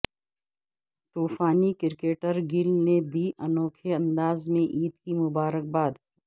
طوفانی cricketer Gayle نے دی انوکھے انداز میں عید کی مبارک باد